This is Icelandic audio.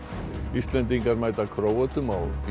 Íslendingar mæta Króötum